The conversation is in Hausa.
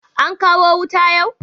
An kawo wuta yau?